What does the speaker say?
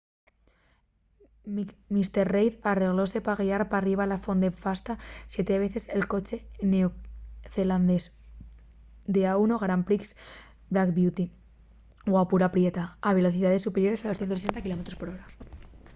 mr reid arreglóse pa guiar perriba la ponte fasta siete veces el coche neocelandés d'a1 grand prix black beauty guapura prieta a velocidaes superiores a los 160 km/h